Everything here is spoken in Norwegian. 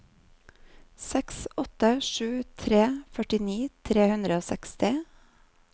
seks åtte sju tre førtini tre hundre og seksti